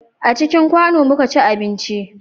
A cikin kwano mu ka ci abinci